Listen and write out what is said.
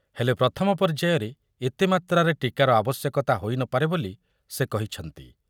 ହେଲେ ପ୍ରଥମ ପର୍ଯ୍ୟାୟରେ ଏତେ ମାତ୍ରାରେ ଟୀକାର ଆବଶ୍ୟକତା ହୋଇ ନ ପାରେ ବୋଲି ସେ କହିଛନ୍ତି ।